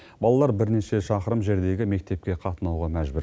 балалар бірнеше шақырым жердегі мектепке қатынауға мәжбүр